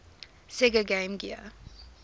sega game gear